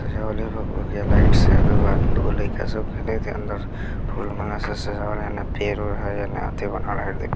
भुकभुकीआ लाइट दूगो लइका सब खेलाइत हई अंदर | फूल माला से सजावल हई एने पेड़ -उड़ हई एने अथी बनावल हई |